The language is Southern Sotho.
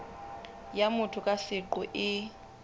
ya motho ka seqo e